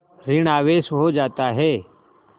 ॠण आवेश हो जाता है